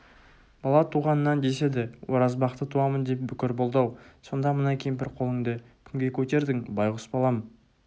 бала туғаннан деседі оразбақты туамын деп бүкір болды-ау сонда мына кемпір қолыңды кімге көтердің байғұс балам